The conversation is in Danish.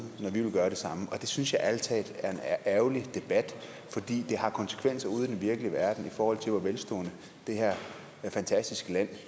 når vi vil gøre det samme det synes jeg ærligt talt er en ærgerlig debat fordi den har konsekvenser ude i den virkelige verden i forhold til hvor velstående det her fantastiske land